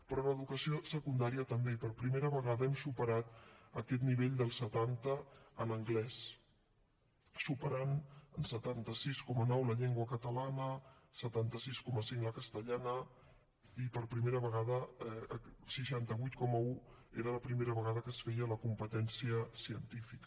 però en educació secundària també per primera vegada hem superat aquest nivell del setanta en anglès l’hem superat amb setanta sis coma nou en llengua catalana setanta sis coma cinc la castellana i per primera vegada seixanta vuit coma un era la primera vegada que es feia en la competència científica